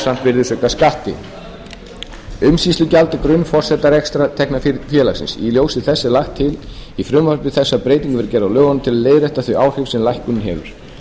virðisaukaskatti umsýslugjald er grunnforsenda rekstrartekna félagsins í ljósi þess er lagt til í frumvarpi þessu að breyting verði gerð á lögunum til að leiðrétta þau áhrif sem lækkunin hefur